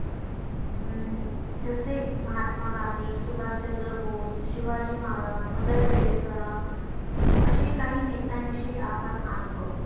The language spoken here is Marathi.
अं जसे महात्मा गांधी सुभाषचंद्र बोस शिवाजी महाराज मदर टेरेसा अशे काही नेत्यांविषयी आपण आज बघु